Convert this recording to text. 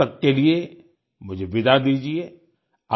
तब तक के लिये मुझे विदा दीजिये